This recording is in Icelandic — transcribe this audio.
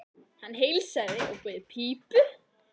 Hann heilsaði og bauð í pípu.